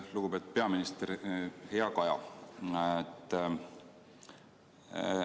Lugupeetud peaminister, hea Kaja!